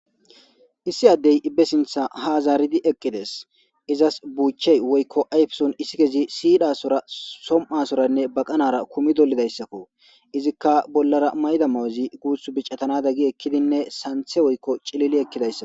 issi addey ibbe sintha haazaaridi eqqides izas buuchey woykko ayfesun issi kezi siidhasora som7asoranne baqanara kumi dolidayssakko izikka bollara mayda mawuzi guuth bicatanada gi ekkidinne santhe woykko cilili ekkidayssa